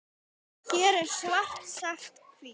Hér er svart sagt hvítt.